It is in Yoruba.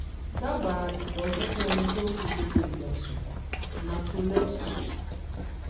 dábàá ìtọ̀jú fún ẹni tó ń fi gbogbo ìgbà sùn narcolepsy